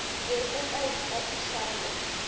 be o ka itapiša go